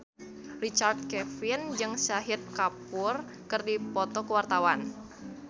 Richard Kevin jeung Shahid Kapoor keur dipoto ku wartawan